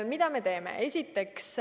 Mida me teeme?